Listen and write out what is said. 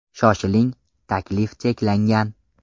Shoshiling, taklif cheklangan.